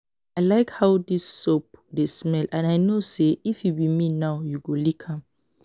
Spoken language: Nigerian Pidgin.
I like how dis dis soap dey smell and I no say if you be me now you go lick am